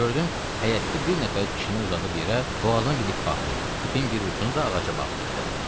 Gördüm həyətdə bir nəfər kişini uzadıb yerə, boğazına bir ip bağlayıb, ipin bir ucunu da ağaca bağlayıbdı.